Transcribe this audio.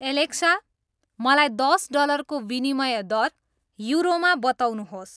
Alexa मलाई दस डलरको विनिमय दर युरोमा बताउनुहोस्